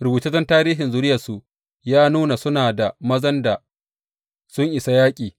Rubutaccen tarihin zuriyarsu ya nuna suna mazan da sun isa yaƙi